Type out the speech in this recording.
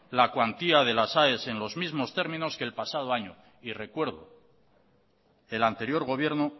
la cuantía de las aes en los mismos términos que el pasado año y recuerdo el anterior gobierno